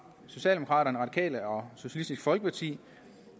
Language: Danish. socialdemokraterne radikale og socialistisk folkeparti